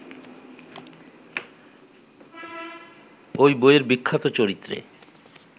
ওই বইয়ের বিখ্যাত চরিত্রে